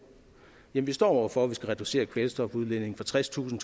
står vi over for at vi skal reducere kvælstofudledningen fra tredstusind